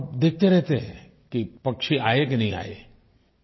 और देखते रहते हैं कि पक्षी आये कि नहीं आये